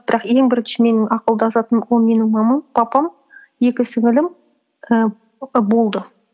бірақ ең бірінші менің ақылдасатын ол менің мамам папам екі сіңлілім ііі болды